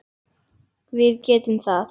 Við getum það.